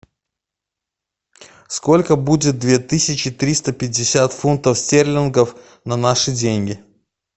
сколько будет две тысячи триста пятьдесят фунтов стерлингов на наши деньги